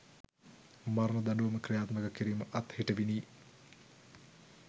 මරණ දඬුවම ක්‍රියාත්මක කිරීම අත්හිටිවිණි.